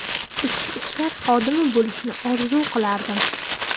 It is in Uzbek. Ichki ishlar xodimi bo‘lishni orzu qilardim.